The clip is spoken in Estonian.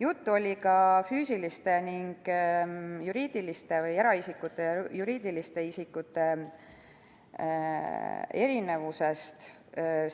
Juttu oli ka füüsiliste ja juriidiliste või eraisikute ja juriidiliste isikute erinevusest